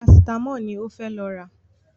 Parasítámọ̀ ni ó fẹ́ lọ rà